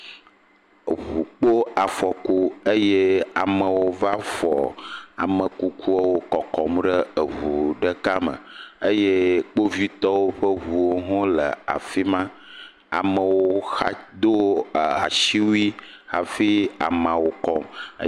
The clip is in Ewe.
Eŋu kpo afɔku eye amewo va fɔ ame kukuawo kɔkɔm ɖe eɔu ɖeka me eye kpovitɔwo ƒe ŋuwo hã le afi ma. Amewo xa do e asiwui hafi ameawo kɔm.